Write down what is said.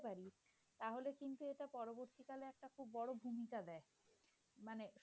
আনতে পারি তাহলে কিন্তু এটা পরবর্তীকালে একটা বড় ভূমিকা দেয়। মানে